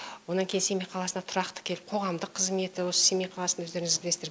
онан кейін семей қаласында тұрақты келіп қоғамдық қызметі осы семей қаласында өздеріңіз білесіздер